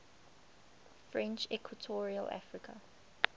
french equatorial africa